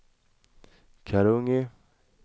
Karungi